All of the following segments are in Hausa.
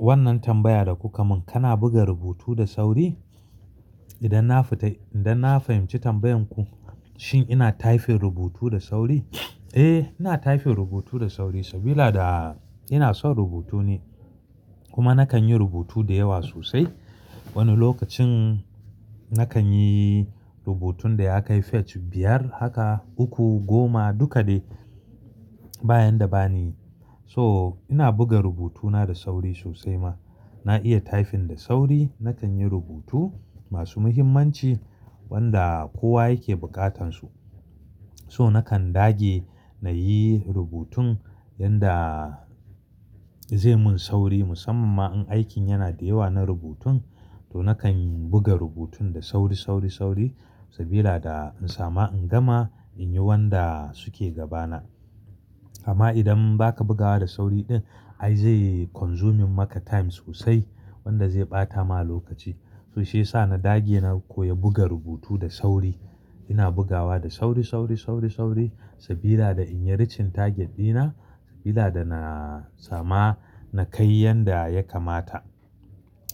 Wannan tambaya da kuka mun, kana buga rubutu da sauri? Idan na fita, idan na fahimci tambayan ku, shin ina tyfing rubutu da sauri? Eh, ina taifin rubutu da sauri saboda ina son rubutu ne kuma nakan yi rubutu da yawa sosai. Wani lokacin nakan yi rubutun da ya kai fate biyar haka, uku, goma duka dai bayan da bani. So ina buga rubutuna da sauri sosai ma. Na iya taifin da sauri, nakan yi rubutu masu muhimmanci wanda kowa yake bukatansu. So nakan dage na yi rubutun yanda zai mun sauri musamman ma in aikin yana da yawa na rubutun to nakan buga rubutun da sauri, sauri, sauri saboda in sama in gama in yi wanda suke gabana. Amma idan baka bugawa da sauri din ai zai consuming maka time sosai wanda zai ɓata ma lokaci. So shiyasa na dage na koyi buga rubutu da sauri. Ina bugawa da sauri, sauri, sauri, sauri saboda in yi richenta gindina saboda na sama na kai yanda ya kamata.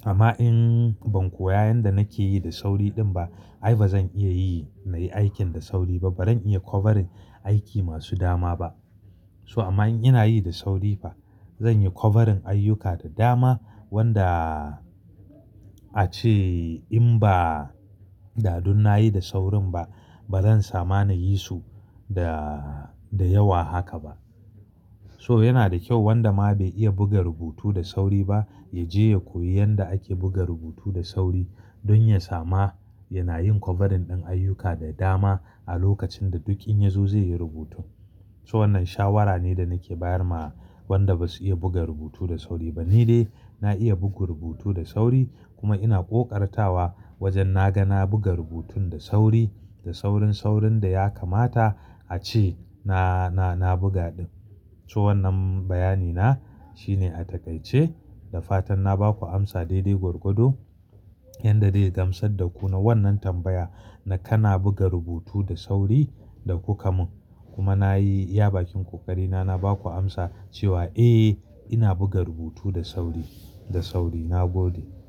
Amma in ban koya inda nake yi da sauri din ba, ai bazan iya yi aikin da sauri ba baran iya covering aikin masu dama ba so amma in ina yi da sauri ba, zan yi covering ayyuka da dama wanda ace in ba dadun na yi da saurin ba bazan sama na yi su da, da yawa haka ba. To yana da kyau wanda ma bai iya buga rubuta da sauri ba, ya je ya koya da ake buga rubuta da sauri. Don ya sama yana yin covering dan ayyuka da dama a lokacin da duk in yazo zai yi so wannan shawara ne da nake bayar ma wanda basu iya buga rubutu da sauri ba. Ni dai na iya bugu rubutu da sauri kuma ina ƙoƙartawa wajen na ga na buga rubutun da sauri, da saurin, saurin da ya kamata ace na, na, na buga. So wannan bayani na shine a takaice. Da fatan na baku amsa daidai gurgudu yanda zai gamsar da ku na wannan tambaya na kana buga rubutu da sauri da kuka mun. Kuma nayi ya bakin kokari na na baku amsa cewa eh ina buga rubutu da sauri. Nagode.